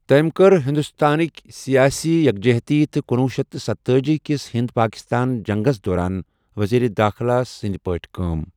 تٔمۍ کٔر ہندوستانٕکۍ سیاسی یکجہتی تہٕ کنوُہ شیتھ تہٕ ستتأجی کِس ہند پاکستان جنگس دوران وزیر دٲخلہٕ سٕنٛد پٲٹھۍ کٲم۔